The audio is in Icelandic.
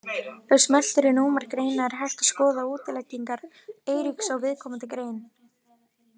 Ef smellt er númer greina er hægt að skoða útleggingar Eiríks á viðkomandi grein.